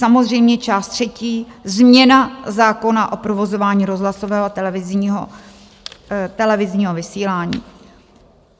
Samozřejmě část třetí - změna zákona o provozování rozhlasového a televizního vysílání.